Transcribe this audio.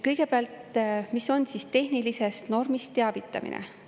Kõigepealt, mis on tehnilisest normist teavitamine?